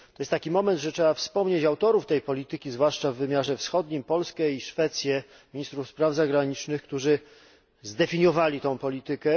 Przyszedł taki moment, że trzeba wspomnieć autorów tej polityki, zwłaszcza w wymiarze wschodnim Polskę i Szwecję oraz ministrów spraw zagranicznych, którzy zdefiniowali tę politykę.